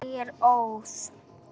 Ég er óð.